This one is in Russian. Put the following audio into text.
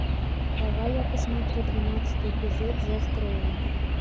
давай я посмотрю двенадцатый эпизод зов крови